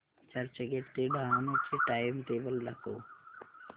चर्चगेट ते डहाणू चे टाइमटेबल दाखव